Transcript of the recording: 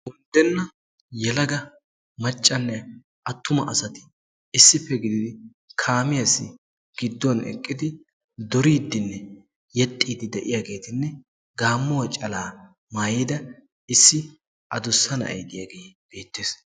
Undenna yelaga maccanne attuma asati issippe gididi kaamiyaassi gidduwan eqqidi duriiddinne yexxiiddi de'iyaageetinne gaammuwa calaa maayida issi adussa na'ay diyagee beettes.